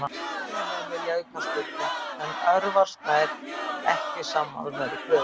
Heimamenn vilja aukaspyrnu, en Örvar Sær ekki sammála þeirri kröfu.